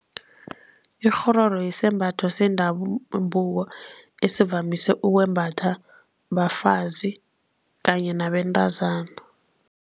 Ikghororo yisembatho esivamise ukwembatha bafazi kanye nabentazana.